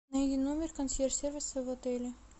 найди номер консьерж сервиса в отеле